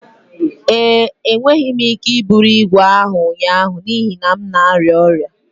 ee, Enweghị m ike iburu ígwè ahụ ụnyaahụ n'ihi na m na-arịa ọrịa